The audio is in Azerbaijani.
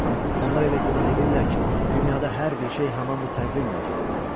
Onlar elə güman eləyirlər ki, dünyada hər bir şey həmin bu təqvimlə getməlidir.